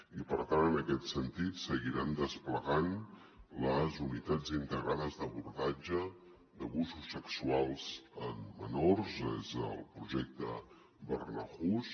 i per tant en aquest sentit seguirem desplegant les unitats integrades d’abordatge d’abusos sexuals en menors és el projecte barnahus